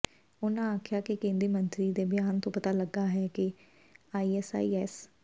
ਉਨ੍ਹਾਂ ਆਖਿਆ ਕਿ ਕੇਂਦਰੀ ਮੰਤਰੀ ਦੇ ਬਿਆਨ ਤੋਂ ਪਤਾ ਲੱਗਾ ਹੈ ਕਿ ਆਈਐਸਆਈਐਸ